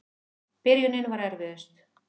Byrjunin var erfiðust.